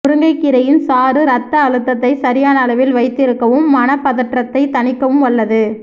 முருங்கைக் கீரையின் சாறு இரத்த அழுத்தத்தை சரியான அளவில் வைத்திருக்கவும் மனப்பதற்றத்தைத் தணிக்கவும் வல்லது